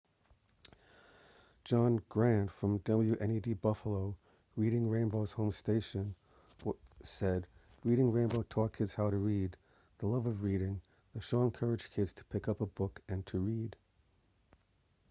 john grant from wned buffalo reading rainbow's home station said reading rainbow taught kids why to read,... the love of reading — [the show] encouraged kids to pick up a book and to read.